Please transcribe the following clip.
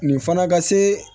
Nin fana ka se